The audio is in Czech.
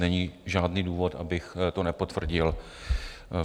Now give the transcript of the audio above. Není žádný důvod, abych to nepotvrdil.